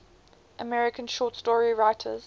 american short story writers